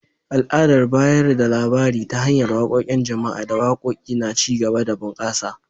Al’adar bayar da labari ta hanyar waƙoƙin jama’a da waƙoƙi na ci gaba da bunƙasa.